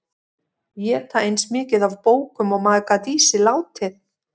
Éta eins mikið af bókum og maður gat í sig látið.